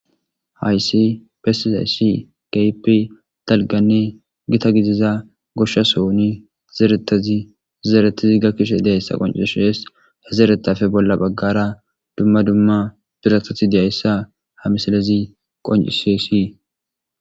Ha issi besida issi keehippe dalggane gita gidiza gosha sohon zerata zeretidi gakishe diza qonccise ha zeretape qomo baggara dumm dumma biratati deesa.ha misilez qoncisesi